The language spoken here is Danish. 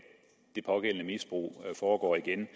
det pågældende misbrug foregår igen